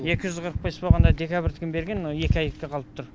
екі жүз қырық бес болғанда декабрьдікін берген мына екі айдыкі қалып тұр